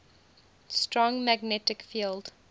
strong magnetic field